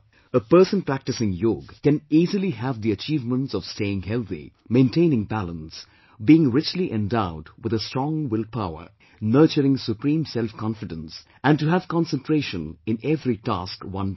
A person practicing Yog, can easily have the achievements of staying healthy, maintaining balance, being richly endowed with a strong will power, nurturing supreme self confidence and to have concentration in every task one does